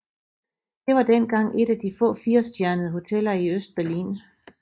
Det var dengang et af de få firestjernede hoteller i Østberlin